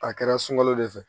A kɛra sunkalo de fɛ